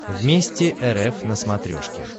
вместе рф на смотрешке